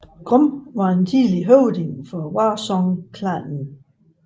Grom var en tidligere høvding for Warsong Clanen